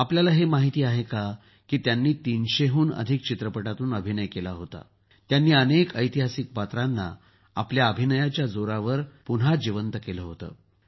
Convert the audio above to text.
आपल्याला हे माहीत आहे का त्यांनी ३०० हून अधिक चित्रपटातून अभियन केला होता त्यांनी अनेक ऐतिहासिक पात्रांना आपल्या अभिनयाच्या जोरावर पुन्हा जिवंत केलं होतं